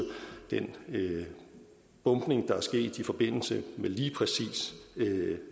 den bombning der er sket i forbindelse med lige præcis